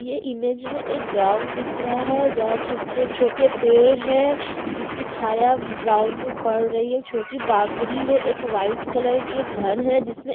ये इमेज मै एक ग्राउंड दिख रहा है जहाँ छो जो छोटे पेड़ हैं जिसकी छाया ग्राउंड में पड़ रही है छोटी बाउंड्री है एक वाइट कलर की एक घर है जिसमे --